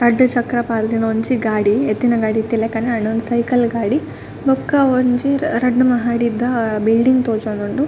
ರಡ್ಡ್ ಚಕ್ರ ಪಾಡ್ದಿನ ಒಂಜಿ ಗಾಡಿ ಎತ್ತಿನ ಗಾಡಿ ಇತ್ತಿಲೆಕನೆ ಉಂಡು ಉಂದು ಸೈಕಲ್ ಗಾಡಿ ಬೊಕ್ಕ ಒಂಜಿ ರಡ್ದ್ ಮಹಡಿದ ಬಿಲ್ಡಿಂಗ್ ತೋಜೊಂದುಂಡು.